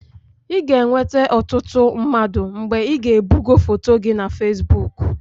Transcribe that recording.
I ga-enweta ọtụtụ mmadụ mgbe ị na-ebugo foto gị na fesbụụk.